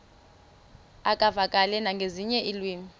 uvakale nangezinye iilwimi